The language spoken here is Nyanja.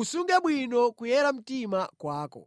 Usunge bwino kuyera mtima kwako.